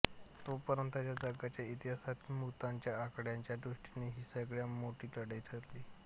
तोपर्यंतच्या जगाच्या इतिहासातील मृतांच्या आकड्याच्या दृष्टीने ही सगळ्या मोठी लढाई ठरली